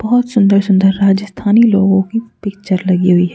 बहोत सुंदर सुंदर राजस्थानी लोगों की पिक्चर लगी हुई है।